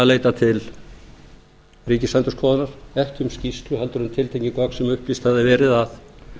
leita til ríkisendurskoðunar ekki um skýrslu heldur um tiltekin gögn sem upplýst hafði verið að